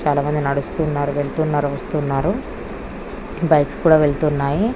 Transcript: చాల మంది నడుస్తున్నారు వెళ్తున్నారు వస్తున్నారు బైక్స్ కూడా వెళ్తున్నాయి.